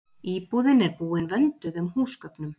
Íbúðin er búin vönduðum húsgögnum